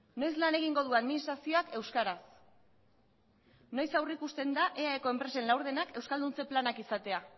noiz lan egingo du administrazioak euskaraz noiz aurrikusten da eae ko enpresen laurdenak euskalduntze planak izatea